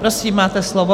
Prosím, máte slovo.